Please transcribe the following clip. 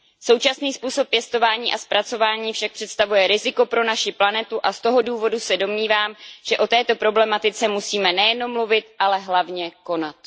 Současný způsob pěstování a zpracování však představuje riziko pro naši planetu a z toho důvodu se domnívám, že o této problematice musíme nejenom mluvit, ale hlavně konat.